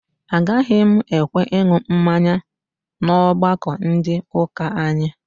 Agaghị m ekwe aṅụ mmanya n'ọgbakọ ndị ụka anyị